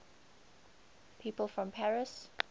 people from paris